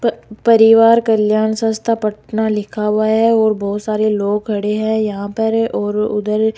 प परिवार कल्याण संस्था पटना लिखा हुआ है और बहोत सारे लोग खड़े हैं यहां पर और उधर --